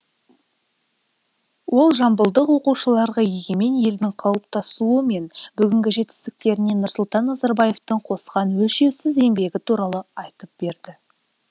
ол жамбылдық оқушыларға егемен елдің қалыптасуы мен бүгінгі жетістіктеріне нұрсұлтан назарбаевтың қосқан өлшеусіз еңбегі туралы айтып берді